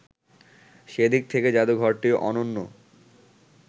সেদিক থেকে জাদুঘরটি অনন্য